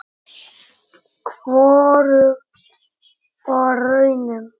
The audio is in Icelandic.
Hvorugt var raunin.